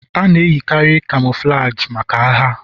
A na-eyikarị Camouflagi maka agha.